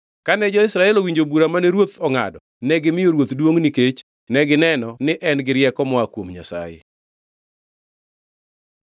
Kane jo-Israel owinjo bura mane ruoth ongʼado, negimiyo ruoth duongʼ nikech negineno ne en-gi rieko moa kuom Nyasaye.